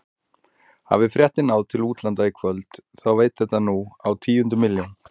Hafi fréttin náð til útlanda í kvöld þá veit þetta nú á tíundu milljón.